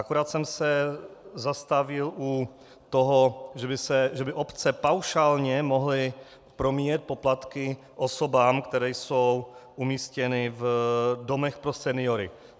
Akorát jsem se zastavil u toho, že by obce paušálně mohly promíjet poplatky osobám, které jsou umístěny v domech pro seniory.